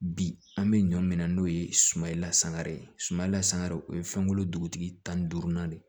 Bi an bɛ ɲɔ minɛ n'o ye sumalasangara ye suman lasan o ye fɛnko dugutigi tan ni duurunan de